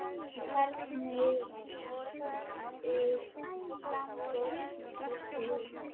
En hvernig lítur framboðslistinn út?